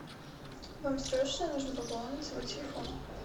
вам срочно нужно пополнить свой телефон